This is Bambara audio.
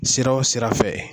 Sira o sira fɛ.